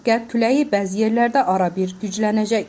Qərb küləyi bəzi yerlərdə arabir güclənəcək.